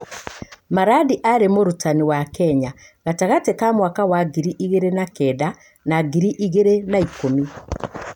Maradi aarĩ mũrutani wa Kenya gatagatĩ ka mwaka wa ngiri igĩrĩ na kenda na ngiri igĩrĩ na ikũmi.